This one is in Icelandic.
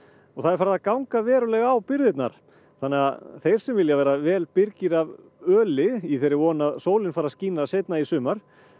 og það er farið að ganga verulega á birgðirnar þannig að þeir sem vilja vera vel birgir af öli í þeirri von að sólin fari að skína seinna í sumar